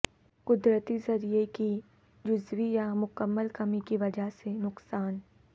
قدرتی ذریعہ کی جزوی یا مکمل کمی کی وجہ سے نقصان